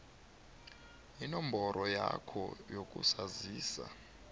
inomboro yakho yokuzazisa